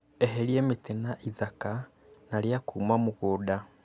Eheria mĩtĩ na ithaka, na ria kuuma mũgũnda